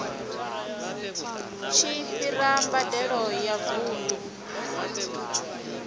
tshi fhira mbadelo ya vundu